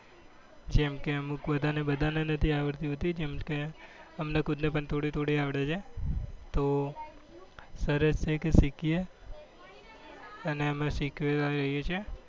જેમ કે અમુક બધા ને બધા ને નથી આવડતી કેમ કે અમને ખુદ ને પણ થોડી થોડી અવળે છે તો સરસ રીતે શીખીએ અને અમે સીખવા જઈએ છીએ